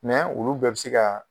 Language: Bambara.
olu bɛɛ bi se ka